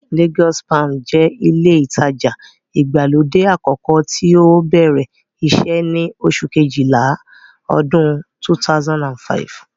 Lagos palms jẹ́ ilé ìtajà ìgbàlódé àkọ́kọ́ tí ó bẹ̀rẹ̀ iṣẹ́ ní oṣù kejìlá ọdún 2005